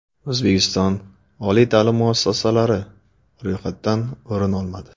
O‘zbekiston oliy ta’lim muassasalari ro‘yxatdan o‘rin olmadi.